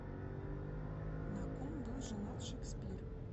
на ком был женат шекспир